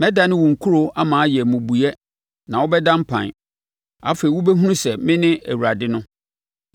Mɛdane wo nkuro ama ayɛ mmubuiɛ na wobɛda mpan. Afei wobɛhunu sɛ mene Awurade no.